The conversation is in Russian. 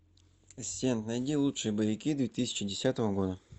ассистент найди лучшие боевики две тысячи десятого года